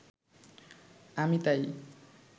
আমি তাই